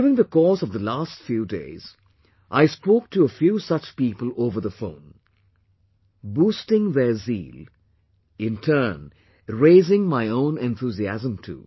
During the course of the last few days, I spoke to a few such people over the phone, boosting their zeal, in turn raising my own enthusiasm too